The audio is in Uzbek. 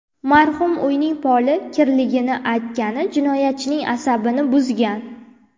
Marhum uyning poli kirligini aytgani jinoyatchining asabini buzgan.